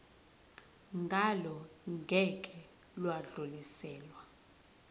ngalo ngeke lwadluliselwa